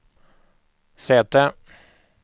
säte